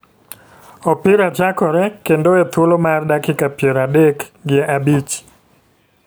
opira chakore kendo e thuolo mar dakiak piero adek gi abich.